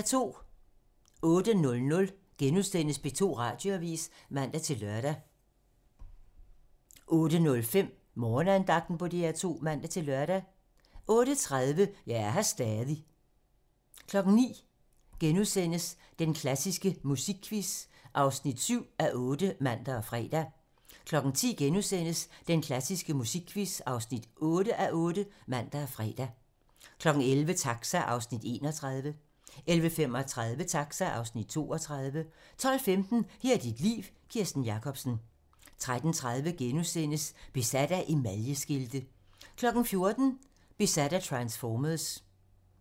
08:00: P2 Radioavis *(man-lør) 08:05: Morgenandagten på DR2 (man-lør) 08:30: Jeg er her stadig 09:00: Den klassiske musikquiz (7:8)*(man og fre) 10:00: Den klassiske musikquiz (8:8)*(man og fre) 11:00: Taxa (Afs. 31) 11:35: Taxa (Afs. 32) 12:15: Her er dit liv - Kirsten Jakobsen 13:30: Besat af emaljeskilte * 14:00: Besat af transformers